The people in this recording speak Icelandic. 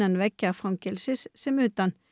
veggja fangelsisins sem utan